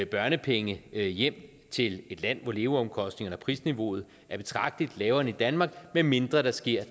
børnepenge hjem til et land hvor leveomkostningerne og prisniveauet er betragtelig lavere end i danmark medmindre der sker